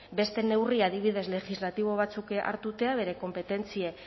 beste neurri adibidez legislatibo batzuk hartzea bere konpetentzia